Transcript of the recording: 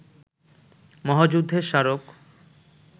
মহাযুদ্ধের স্মারক